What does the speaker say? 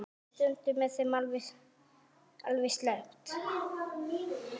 Stundum er þeim alveg sleppt.